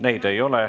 Neid ei ole.